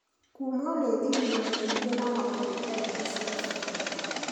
Kumwo nĩ thithino nyingĩ na homa nĩ ndariri cia flu.